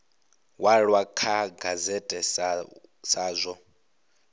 walwa kha gazette sa zwo